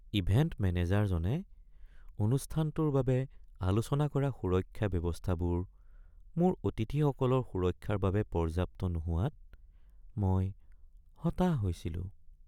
Event মেনেজাৰজনে অনুষ্ঠানটোৰ বাবে আলোচনা কৰা সুৰক্ষা ব্যৱস্থাবোৰ মোৰ অতিথিসকলৰ সুৰক্ষাৰ বাবে পৰ্যাপ্ত নোহোৱাত মই হতাশ হৈছিলো।